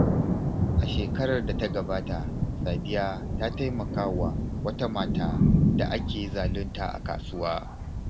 A shekarar da ta gabata, Sadiya ta taimaka wa wata mata da ake zalunta a kasuwa.